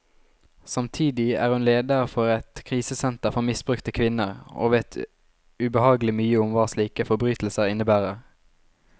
Samtidig er hun leder for et krisesenter for misbrukte kvinner, og vet ubehagelig mye om hva slike forbrytelser innebærer.